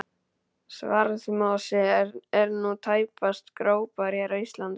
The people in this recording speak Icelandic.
Svarðmosi er nú tæpast gróbær hér á landi.